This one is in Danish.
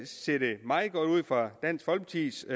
ser det meget godt ud for dansk folkepartis